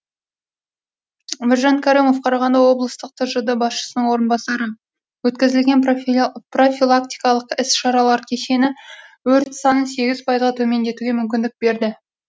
біржан кәрімов қарағанды облыстық тжд басшысының орынбасары өткізілген профилактикалық іс шаралар кешені өрт санын сегіз пайызға төмендетуге мүмкіндік берді